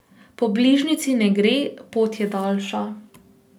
Po bližnjici ne gre, pot je daljša.